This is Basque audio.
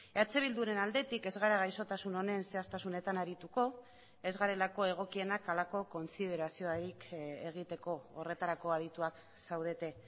eh bilduren aldetik ez gara gaixotasun honen zehaztasunetan arituko ez garelako egokienak halako kontsideraziorik egiteko horretarako adituak zaudete